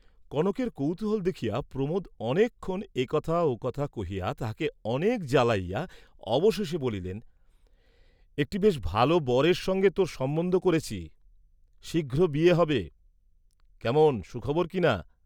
কনকের কৌতূহল দেখিয়া প্রমোদ অনেকক্ষণ এ কথা ও কথা কহিয়া তাহাকে অনেক জ্বালাইয়া অবশেষে বলিলেন, "একটি বেশ ভাল বরের সঙ্গে তোর সম্বন্ধ করেছি, শীঘ্র বিয়ে হবে, কেমন সুখবর কিনা।"